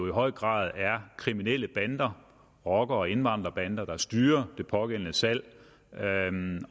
i høj grad kriminelle bander rocker og indvandrerbander der styrer det pågældende salg